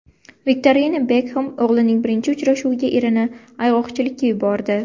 Viktoriya Bekxem o‘g‘lining birinchi uchrashuviga erini ayg‘oqchilikka yubordi.